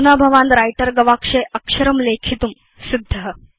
अधुना भवान् व्रिटर गवाक्षे अक्षरं लेखितुं सिद्ध